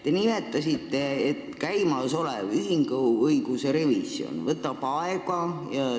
Te nimetasite, et käimasolev ühinguõiguse revisjon võtab aega.